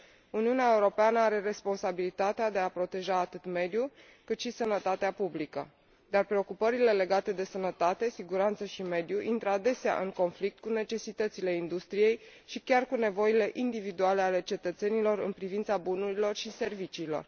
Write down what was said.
Uniunea Europeană are responsabilitatea de a proteja atât mediul, cât și sănătatea publică, dar preocupările legate de sănătate, siguranță și mediu intră adesea în conflict cu necesitățile industriei și chiar cu nevoile individuale ale cetățenilor în privința bunurilor și serviciilor.